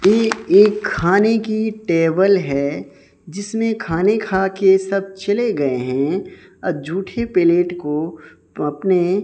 ये एक खानें की टेबल है जिसमें खाने खाके सब चले गए हैं और जूठे प्लेट को अपने--